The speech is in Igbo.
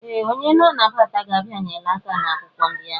Ee! Onye na-anabata gị abịanyela aka n'akwụkwọ ndị ahụ.